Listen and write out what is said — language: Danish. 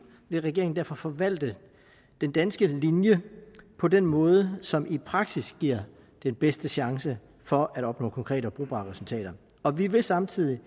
vil regeringen derfor forvalte den danske linje på den måde som i praksis giver den bedste chance for at opnå konkrete og brugbare resultater og vi vil samtidig